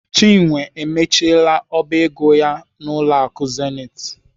Chinwe emechiela ọba ego ya n'ụlọ akụ Zenith.